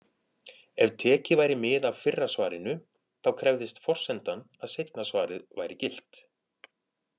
Ef tekið væri mið af fyrra svarinu, þá krefðist forsendan að seinna svarið væri gilt.